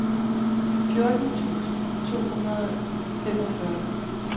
fjorten tusind to hundrede og femogfyrre